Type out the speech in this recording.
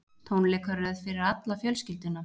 Tónleikaröð fyrir alla fjölskylduna